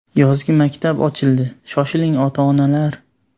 Yozgi maktab ochildi, shoshiling ota-onalar!.